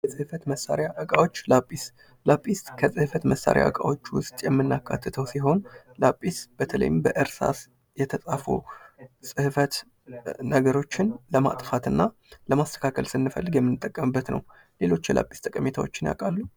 የጽህፈት እቃ መሳሪያዎች ላጲስ፦ ላጲስ ከጽፈት ዕቃ መሳሪያዎች ውስጥ የምናካትተው ሲሆን ላጲስ በተለይም በእርሳስ የተፃፉ ጽህፈቶችን ለማጥፋትና ለማስተካከል ስንፈልግ የምንጠቀምበት ነው። ሌሎች የላጲስ ጠቀሜታዎችን ያውቃሉ?